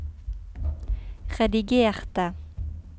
redigerte